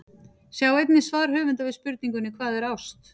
Sjá einnig svar höfundar við spurningunni Hvað er ást?